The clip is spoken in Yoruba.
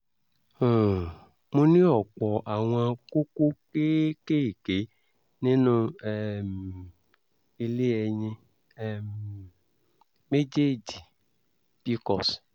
um mo ní ọ̀pọ̀ àwọn kókó kéékèèké nínú um ilé ẹyin um méjèèjì pcos